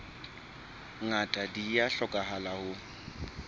ngata di a hlokahala ho